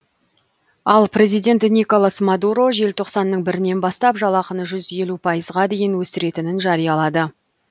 ал президент николас мадуро желтоқсанның бірінен бастап жалақыны жүз елу пайызға дейін өсіретінін жариялады